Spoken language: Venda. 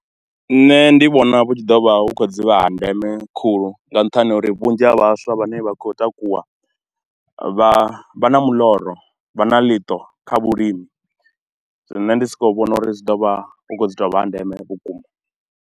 Nṋe ndi vhona vhu tshi ḓo vha hu khou dzivha ha ndeme khulu, nga nṱhani ha uri vhunzhi ha vhaswa vhane vha khou takuwa, vha, vha na muloro, vha na ḽiṱo kha vhulimi. Zwino nne ndi sokou vhona uri zwi ḓo vha hu khou dzi tou vha ha ndeme vhukuma.